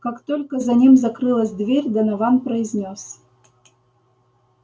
как только за ним закрылась дверь донован произнёс